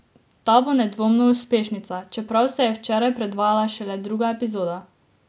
Ta bo nedvomno uspešnica, čeprav se je včeraj predvajala šele druga epizoda.